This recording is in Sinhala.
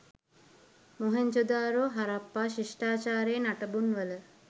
මොහෙන්දජාරෝ හරප්පා ශිෂ්ඨාචාරයේ නටබුන්වල